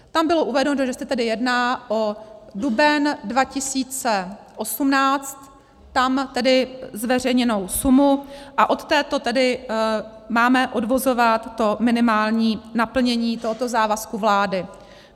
Tam bylo uvedeno, že se tady jedná o duben 2018, tam tedy zveřejněnou sumu, a od této tedy máme odvozovat to minimální naplnění tohoto závazku vlády.